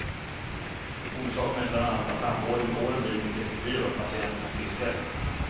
Orsaken är bland annat att tandvården med åren blivit mycket effektivare och patienterna friskare.